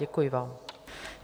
Děkuji vám.